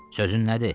Sözün nədir?